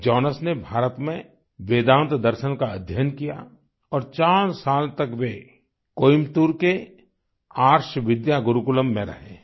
Jonas ने भारत में वेदांत दर्शन का अध्ययन किया और 4 साल तक वे कोयंबटूर के आर्ष विद्या गुरूकुलम में रहे हैं